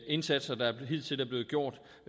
indsatser der hidtil er blevet gjort